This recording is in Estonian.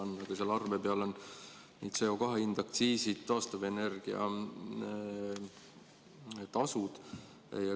Seal arve peal on CO2 hind, aktsiisid, taastuvenergia tasu.